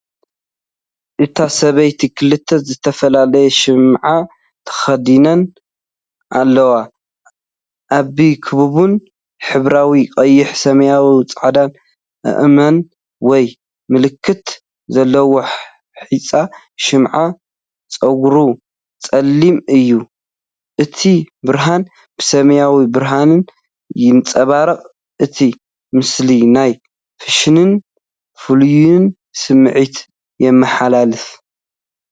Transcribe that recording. እቲ ሰብኣይ ክልተ ዝተፈላለየ ሽምዓ ተኸዲኑ ኣሎ፤ ዓቢ፡ ክቡብን ሕብራዊን (ቀይሕ፡ ሰማያውን ጻዕዳን ኣእማን ወይ ምልክት ዘለዎ) ሑጻ ሽምዓ። ጸጉሩ ጸሊም እዩ። እቲ ብርሃን ብሰማያዊ ብርሃን ይንጸባረቕ። እቲ ምስሊ ናይ ፋሽንን ፍልልይን ስምዒት የመሓላልፍ።